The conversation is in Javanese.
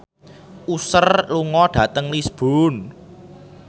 Usher lunga dhateng Lisburn